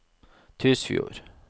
Tysfjord